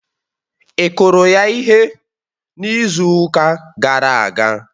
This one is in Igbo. Ị kụrụ ya ihe n'izu ụka gara aga?